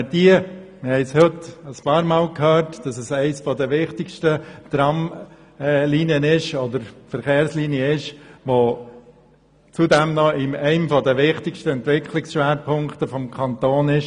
Wir haben heute mehrmals gehört, dass es sich um eine der wichtigsten Verkehrslinien handelt, welche zudem in einem der wichtigsten Entwicklungsschwerpunkte des Kantons liegt.